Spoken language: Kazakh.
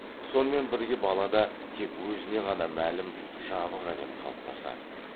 сонымен бірге балада тек өзіне ғана мәлім жабық әлем қалыптасады